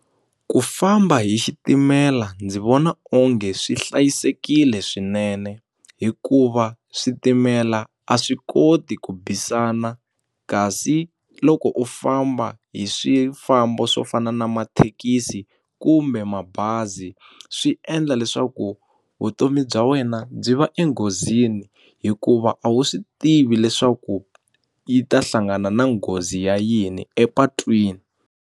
Ku famba hi xitimela ndzi vona onge swi hlayisekile swinene hikuva switimela a swi koti ku bisana kasi loko u famba hi swifambo swo fana na mathekisi kumbe mabazi swi endla leswaku vutomi bya wena byi va enghozini hikuva a wu swi tivi leswaku yi ta hlangana na nghozi ya yini epatwini.